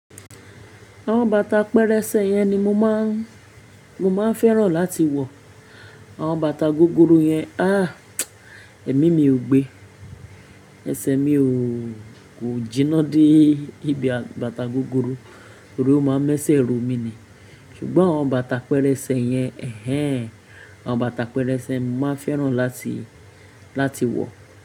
Àwọn bàtà pẹrẹsẹ yẹn ni mo máa ń, mo máa ń fẹ́ràn láti wọ. Àwọn bàtà gogoro yẹn, ah! Èmi mi ò gbé. Ẹsẹ̀ mi ò, kò jìnnà dé ibi bàtà gogoro, torí ó máa ń mẹ́sẹ̀ ro mi ni. Ṣùgbọ́n àwọn bàtà pẹrẹsẹ yẹn, ẹhẹ́n, àwọn bàtà pẹrẹsẹ máa ń fẹ́ràn láti, láti wọ.